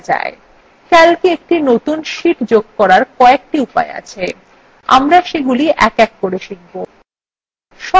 calcwe একটি নতুন sheet যোগ করার কয়েকটি উপায় আছে আমরা সেগুলি এক এক করে শিখব